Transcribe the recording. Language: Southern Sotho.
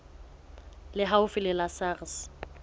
le haufi le la sars